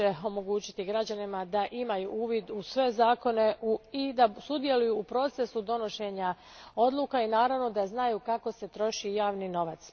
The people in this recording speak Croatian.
omogućiti građanima da imaju uvid u sve zakone i da sudjeluju u procesu donošenja odluka, i naravno da znaju kako se troši javni novac.